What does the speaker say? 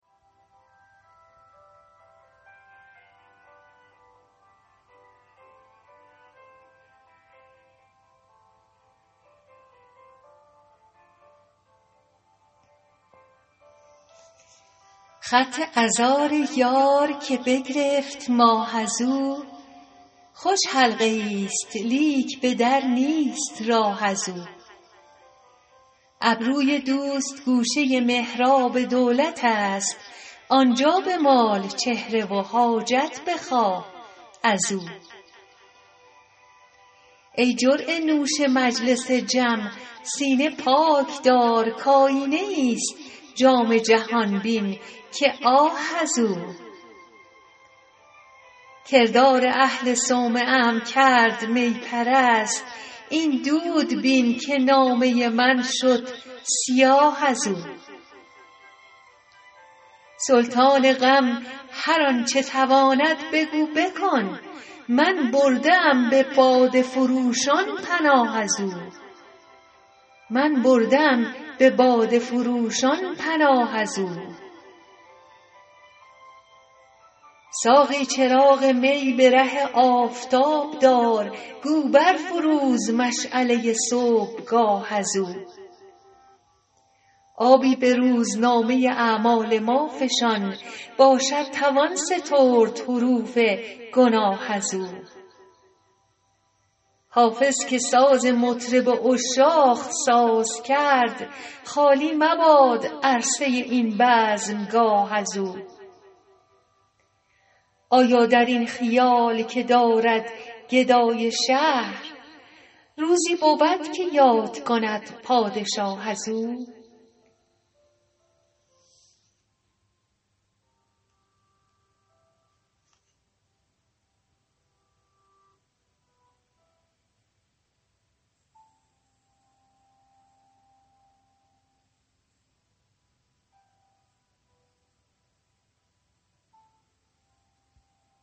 خط عذار یار که بگرفت ماه از او خوش حلقه ای ست لیک به در نیست راه از او ابروی دوست گوشه محراب دولت است آن جا بمال چهره و حاجت بخواه از او ای جرعه نوش مجلس جم سینه پاک دار کآیینه ای ست جام جهان بین که آه از او کردار اهل صومعه ام کرد می پرست این دود بین که نامه من شد سیاه از او سلطان غم هر آن چه تواند بگو بکن من برده ام به باده فروشان پناه از او ساقی چراغ می به ره آفتاب دار گو بر فروز مشعله صبحگاه از او آبی به روزنامه اعمال ما فشان باشد توان سترد حروف گناه از او حافظ که ساز مطرب عشاق ساز کرد خالی مباد عرصه این بزمگاه از او آیا در این خیال که دارد گدای شهر روزی بود که یاد کند پادشاه از او